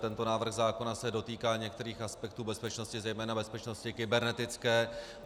Tento návrh zákona se dotýká některých aspektů bezpečnosti, zejména bezpečnosti kybernetické.